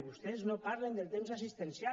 vostès no parlen del temps assistencial